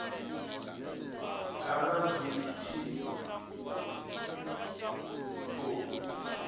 nga vha zwi tshi khou